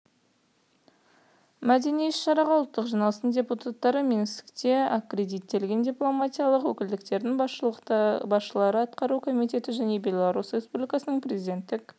мәдени іс-шараға ұлттық жиналыстың депутаттары минскте аккредиттелген дипломатиялық өкілдіктердің басшылары атқару комитеті және белорусь республикасының президенттік